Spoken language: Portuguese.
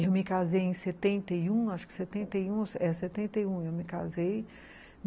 Eu me casei em setenta e um, acho que setenta e um, é, setenta e um eu me casei.